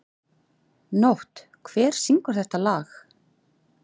Nótt, hver syngur þetta lag?